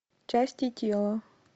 части тела